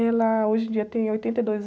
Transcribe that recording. Ela, hoje em dia, tem oitenta e dois